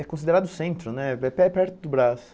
É considerado centro né, é per perto do Braz.